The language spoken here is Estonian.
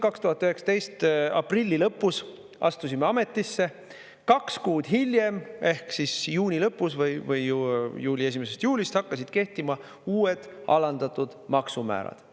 2019 aprilli lõpus astusime ametisse, kaks kuud hiljem ehk juuni lõpus või 1. juulist hakkasid kehtima uued alandatud maksumäärad.